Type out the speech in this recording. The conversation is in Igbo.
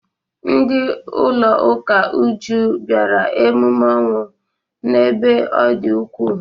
Ndị ụlọ ụka Uju bịara emume ọnwụ n'ebe ọ dị ukwuu.